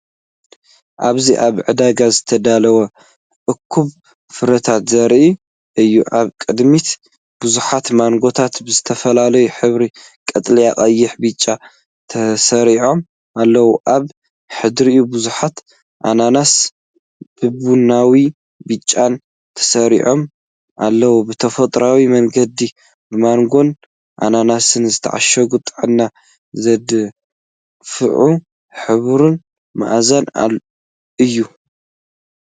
ኣብዚ ኣብ ዕዳጋ ዝተዳለወ እኩብ ፍረታት ዘርኢ እዩ። ኣብ ቅድሚት ብዙሓት ማንጎታት ብዝተፈላለየ ሕብሪ (ቀጠልያ፡ ቀይሕ፣ ብጫ) ተሰሪዖም ኣለዉ። ኣብ ድሕሪት ብዙሓት ኣናናስ ብቡናውን ብጫን ተሰሪዖም ኣለዉ። ብተፈጥሮኣዊ መንገዲ ብማንጎን ኣናናስን ዝተዓሸገ፡ ጥዕና ዘደንፍዕ ሕብርን መኣዛን እዩ።